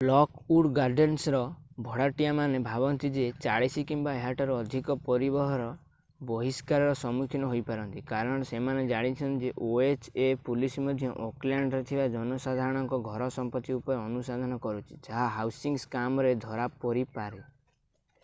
Lockwood ଗାର୍ଡେନ୍ସର ଭଡ଼ାଟିଆମାନେ ଭାବନ୍ତି ଯେ 40 କିମ୍ବା ଏହାଠାରୁ ଅଧିକ ପରିବାର ବହିଷ୍କାରର ସମ୍ମୁଖୀନ ହୋଇ ପାରନ୍ତି କାରଣ ସେମାନେ ଜାଣିଛନ୍ତି ଯେ ଓଏଚ୍ ଏ ପୋଲିସ୍ ମଧ୍ୟ ଓକଲ୍ୟାଣ୍ଡରେ ଥିବା ଜନସାଧାରଣଙ୍କ ଘର ସମ୍ପତ୍ତି ଉପରେ ଅନୁସନ୍ଧାନ କରୁଛନ୍ତି ଯାହା ହାଉସିଂ ସ୍କାମରେ ଧରା ପରିପାରେ